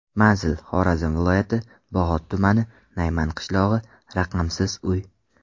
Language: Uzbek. Manzil: Xorazm viloyati, Bog‘ot tumani, Nayman qishlog‘i, raqamsiz uy.